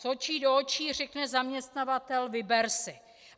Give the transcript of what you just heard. Z očí do očí řekne zaměstnavatel: vyber si.